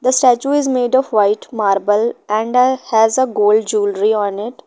The statue is made of white marble and a has a gold jewellery on it.